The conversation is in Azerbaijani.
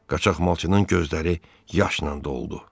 Qaçaqmalçının gözləri yaşla doldu.